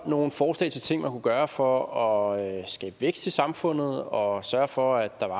nogle forslag til ting man kunne gøre for at skabe vækst i samfundet og sørge for at der var